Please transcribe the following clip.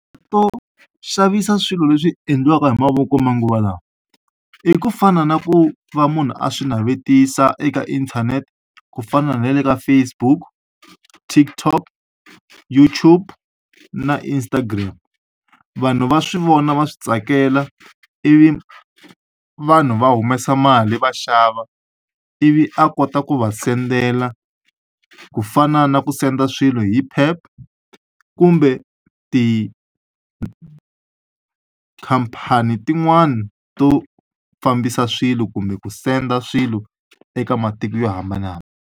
To xavisa swilo leswi endliwaka hi mavoko manguva lawa i ku fana na ku va munhu a swi navetisa eka inthanete ku fana na le ka Facebook TikTok YouTube na Instagram vanhu va swi vona va swi tsakela ivi vanhu va humesa mali va xava ivi a kota ku va sendela ku fana na ku senda swilo hi Pep kumbe tikhampani tin'wana to fambisa swilo kumbe ku senda swilo eka matiko yo hambana.